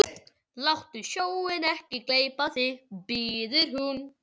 Láttu sjóinn ekki gleypa þig, biður hún.